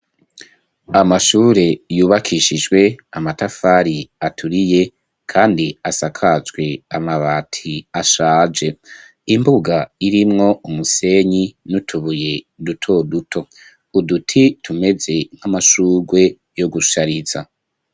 Amashure yubakishijwe amatafari aturiye kandi asakajwe amabati ashaje imbuga irimwo umusenyi n'utubuye duto duto uduti tumeze nk'amashurwe yo gushariza.